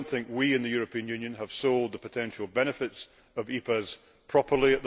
We in the European Union have not as yet sold the potential benefits of EPAs properly.